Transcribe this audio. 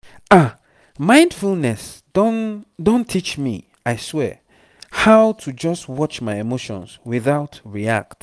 ah mindfulness don don teach me i swear how to just watch my emotions without react.